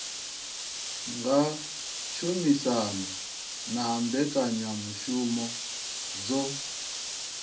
nga tshumisano na mbekanyamushumo dzo